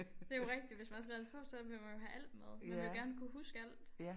Det jo rigtigt hvis man har skrevet det på så vil man jo have alt med man vil jo gerne kunne huske alt